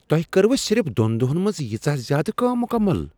تۄہہ کٔروٕ صرف دوٚن دۄہن منٛز ییژاہ زیٛادٕ کٲم مٗكمل ؟